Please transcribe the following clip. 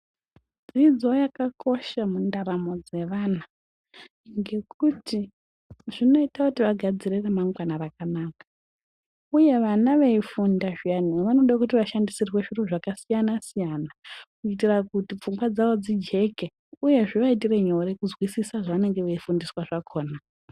Dzidzo yakakosha mundaramo dzevana nekuti zvinoita kuti vagadzire ramangwana rakanaka uye vana veifunda zviyani vanoda kuti vashandisirwe zviro zvakasiyana siyana kuitira kuti pfungwa dzavo dzijeke uye zvivaitire nyore kuzwisisa zvenanenge veifundiswa zvakona.